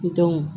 Ki dɔn